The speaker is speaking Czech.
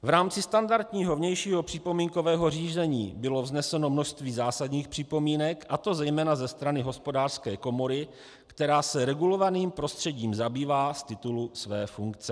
V rámci standardního vnějšího připomínkového řízení bylo vzneseno množství zásadních připomínek, a to zejména ze strany Hospodářské komory, která se regulovaným prostředím zabývá z titulu své funkce.